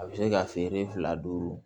A bɛ se ka feere fila duuru